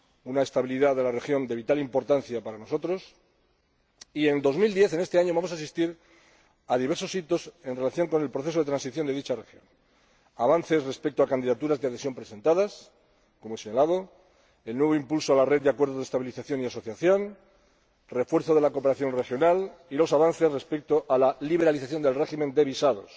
La estabilidad de la región es de vital importancia para nosotros y, en este año 2010, vamos a asistir a diversos hitos en relación con el proceso de transición de dicha región avances respecto a las candidaturas de adhesión presentadas —como ya se ha hablado—, un nuevo impulso a la red de acuerdos de estabilización y asociación, el refuerzo de la cooperación regional y los avances respecto a la liberalización del régimen de visados.